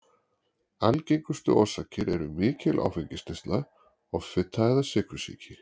Algengustu orsakir eru mikil áfengisneysla, offita eða sykursýki.